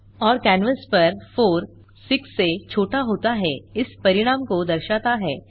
और कैनवास पर 4 6 से छोटा होता है इस परिणाम को दर्शाता है